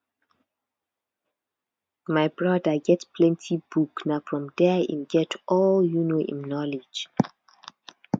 my broda get plenty book na from there im get all um im knowledge